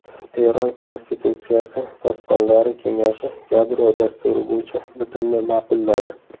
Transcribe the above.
Eron konstitutsiyasi posbonlari kengashi yadro dasturi bo‘yicha bitimni ma’qulladi.